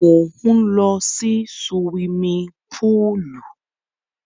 Mò ń lọ sí suwimi púùlù.